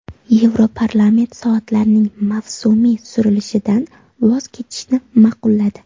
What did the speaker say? Yevroparlament soatlarning mavsumiy surilishidan voz kechishni ma’qulladi.